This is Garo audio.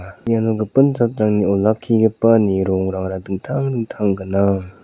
iano gipin jatrangni olakkigipani rongrangara dingtang dingtang gnang.